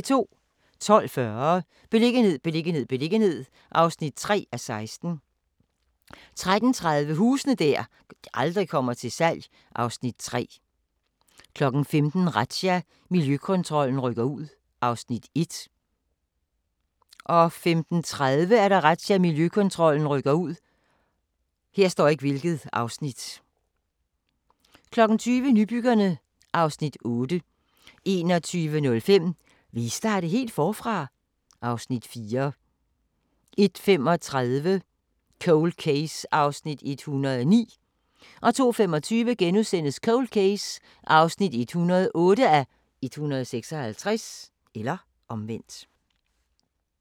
12:40: Beliggenhed, beliggenhed, beliggenhed (3:16) 13:30: Huse der aldrig kommer til salg (Afs. 3) 15:00: Razzia – Miljøkontrollen rykker ud (Afs. 1) 15:30: Razzia – Miljøkontrollen rykker ud 20:00: Nybyggerne (Afs. 8) 21:05: Vil I starte helt forfra? (Afs. 4) 01:35: Cold Case (109:156) 02:25: Cold Case (108:156)*